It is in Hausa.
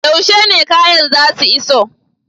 Yaushe ne kayan zasu iso?